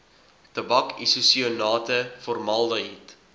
tabak isosianate formaldehied